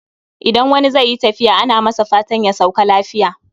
Idan wani zai yi tafiya ana masa fatan ya sauka lafiya